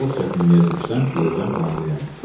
"Çox çətinliyə düşsəm, deyəcəm hamiləyəm."